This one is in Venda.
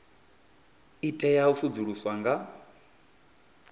i tea u sedzuluswa nga